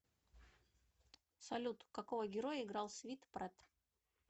салют какого героя играл свит прет